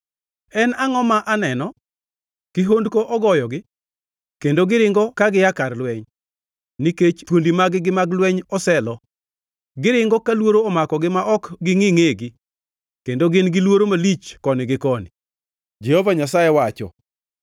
En angʼo ma aneno? Kihondko ogoyogi, kendo giringo ka gia kar lweny nikech thuondi mag-gi mag lweny oselo. Giringo ka luoro omakogi ma ok gingʼi ngʼegi, kendo gin-gi luoro malich koni gi koni,” Jehova Nyasaye wacho.